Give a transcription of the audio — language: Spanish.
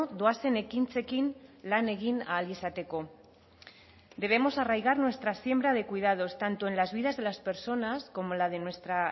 doazen ekintzekin lan egin ahal izateko debemos arraigar nuestra siembra de cuidados tanto en las vidas de las personas como la de nuestra